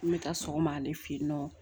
N bɛ taa sɔgɔma ale fɛ yen nɔ